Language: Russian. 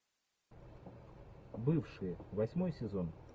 бывшие восьмой сезон